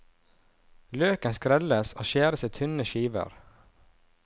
Løken skrelles og skjæres i tynne skiver.